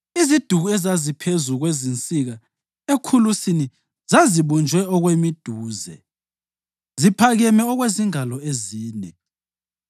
Iziduku ezaziphezu kwezinsika ekhulusini zazibunjwe okwemiduze, ziphakeme okwezingalo ezine.